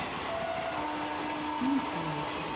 Húnbogi